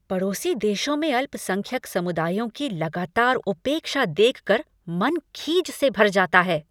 पड़ोसी देशों में अल्पसंख्यक समुदायों की लगातार उपेक्षा देख कर मन खीझ से भर जाता है।